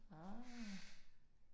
Ah